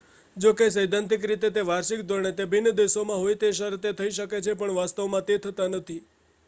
જો કે સૈદ્ધાંતિક રીતે તે વાર્ષિક ધોરણે તે ભિન્ન દેશોમાં હોય એ શરતે થઈ શકે છે પણ વાસ્તવમાં તે થતાં નથી